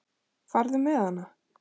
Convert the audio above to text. Farðu með hana.